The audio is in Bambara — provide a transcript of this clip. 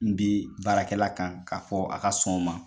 N bi baarakɛla kan k'a fɔ a ka sɔn o ma.